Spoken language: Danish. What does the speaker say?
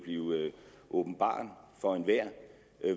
åbenbaret for enhver